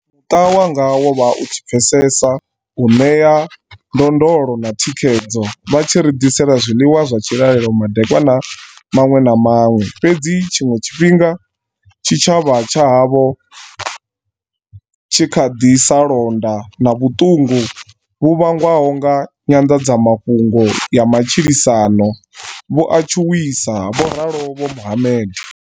Muṱa wanga wo vha u tshi pfesesa, u ṋea ndondolo na thikhedzo, vha tshi ri ḓisela zwiḽiwa zwa tshilalelo madekwana maṅwe na maṅwe, fhedzi tshiṅwe tshifhinga tshi tshavha tsha havho tshi nga kha ḓi sa londa, na vhuṱungu vhu vhangwaho nga nyanḓadzamafhungo ya matshilisano vhu a tshuwisa, vho ralo vho Mohammed.